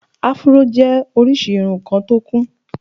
afro jẹ́ orísìí irun kan tí ó kún